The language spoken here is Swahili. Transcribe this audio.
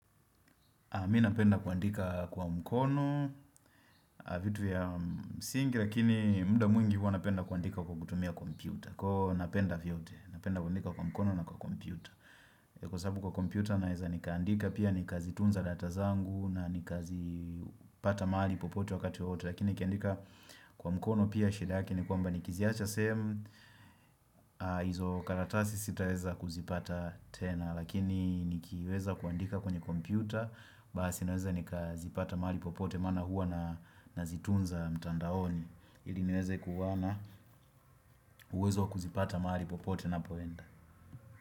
Mi napenda kuandika kwa mkono, vitu vya msingi, lakini muda mwingi huo napenda kuandika kwa kutumia kompyuta. Kwa hiyo napenda vyote, napenda kuandika kwa mkono na kwa kompyuta. Kwa sababu kwa kompyuta naeza nikaandika pia nikazitunza data zangu na nikazipata malipopote wakati wowote. Lakini nikiandika kwa mkono pia shedake ni kwamba nikiziacha same, hizo karatasi sitaweza kuzipata tena. Lakini nikiweza kuandika kwenye kompyuta basi naweza nikazipata mahali popote maana huwa nazitunza mtandaoni ili niweze kuwa na uwezo kuzipata mahali popote napoenda.